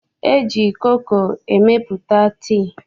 E ji koko emepụta tii.